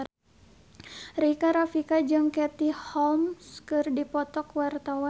Rika Rafika jeung Katie Holmes keur dipoto ku wartawan